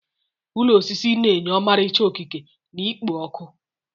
Ụlọ osisi na-enye ọmarịcha okike na ikpo ọkụ.